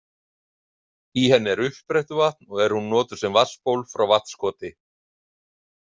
Í henni er uppsprettuvatn og er hún notuð sem vatnsból frá Vatnskoti.